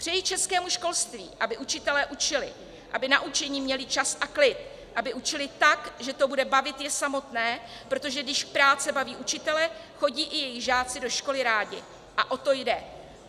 Přeji českému školství, aby učitelé učili, aby na učení měli čas a klid, aby učili tak, že to bude bavit je samotné, protože když práce baví učitele, chodí i jejich žáci do školy rádi a o to jde.